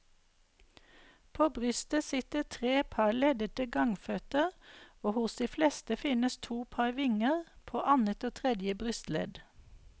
På brystet sitter tre par leddelte gangføtter og hos de fleste finnes to par vinger, på annet og tredje brystledd.